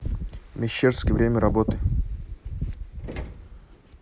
мещерский время работы